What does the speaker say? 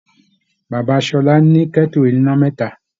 Bàbá Ṣọlá ní kẹ́tù oníná mẹ́ta.